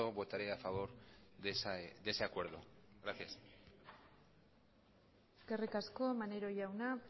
votaré a favor de ese acuerdo gracias eskerrik asko maneiro jauna